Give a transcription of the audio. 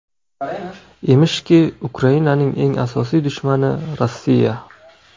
Emishki, Ukrainaning eng asosiy dushmani Rossiya.